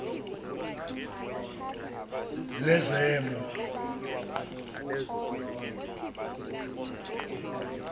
lezemo